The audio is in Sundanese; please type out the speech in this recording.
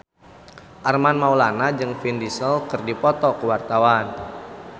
Armand Maulana jeung Vin Diesel keur dipoto ku wartawan